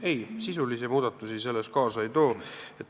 Ei, sisulisi muudatusi selles see kaasa ei too.